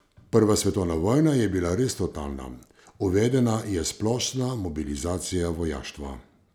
Prva svetovna vojna je bila res totalna, uvedena je splošna mobilizacija vojaštva.